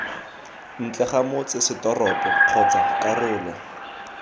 ntle ga motsesetoropo kgotsa karolo